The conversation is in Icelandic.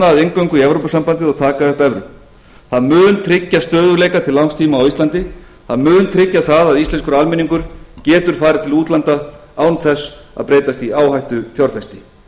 að inngöngu í evrópusambandið og taka upp evru það mun tryggja stöðugleika til langtíma á íslandi það mun tryggja það að íslenskur almenningur getur farið til útlanda án þess að breytast í áhættufjárfesti